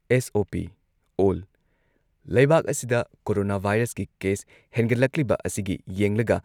SOP ꯑꯣꯜ ꯂꯩꯕꯥꯛ ꯑꯁꯤꯗ ꯀꯣꯔꯣꯅꯥ ꯚꯥꯏꯔꯁꯀꯤ ꯀꯦꯁ ꯍꯦꯟꯒꯠꯂꯛꯂꯤꯕ ꯑꯁꯤꯒꯤ ꯌꯦꯡꯂꯒ